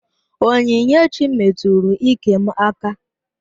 Onyinyechi metụrụ iké m aka